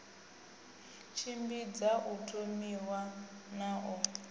tshimbidza u thomiwa na u